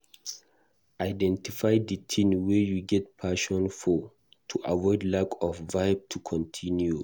Identify di thing wey you get passion for to avoid lack of vibe to continue